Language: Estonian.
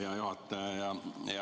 Hea juhataja!